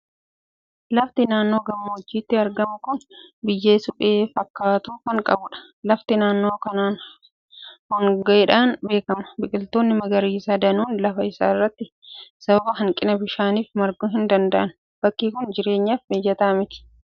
Lafti naannoo gammoojjiitti argamu kun biyyee suphee fakkaatu kan qabudha. Lafti naannoo kanaan hongeedhaan beekama. Biqiltoonni magariisaa danuun lafa isaa irratti sababa hanqina bishaaniif marguu hin danda'an. Bakki kun jireenyaaf mijataa miti!